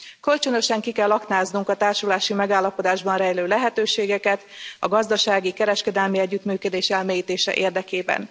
Kölcsönösen ki kell aknáznunk a társulási megállapodásban rejlő lehetőségeket a gazdasági, kereskedelmi együttműködés elmélyítése érdekében.